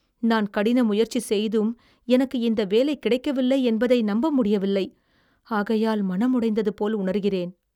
நான் கடின முயற்சி செய்தும் எனக்கு இந்த வேலை கிடைக்கவில்லை, என்பதை நம்ப முடியவில்லை. ஆகையால் மனமுடைந்தது போல் உணர்கிறேன்